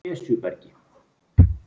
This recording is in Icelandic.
Esjubergi